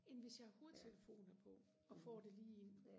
end hvis jeg har hovedtelefoner på og får det lige ind